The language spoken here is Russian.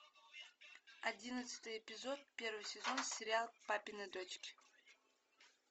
одиннадцатый эпизод первый сезон сериал папины дочки